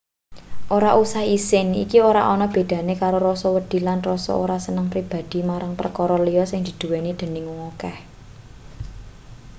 ora usah isin iki ora ana bedane karo rasa wedi lan rasa ora seneng pribadhi marang perkara liya sing dinduweni dening wong akeh